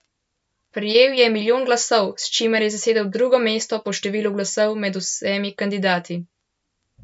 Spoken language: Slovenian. Prejel je milijon glasov, s čimer je zasedel drugo mesto po številu glasov med vsemi kandidati.